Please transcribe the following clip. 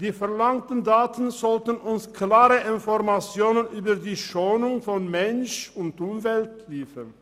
Die verlangten Daten sollten uns klare Informationen über die Schonung von Mensch und Umwelt liefern.